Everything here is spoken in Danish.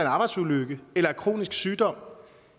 arbejdsulykke eller af kronisk sygdom